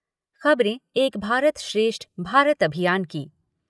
खबरें एक भारत श्रेष्ठ भारत अभियान की